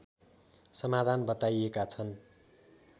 समाधान बताइएका छन्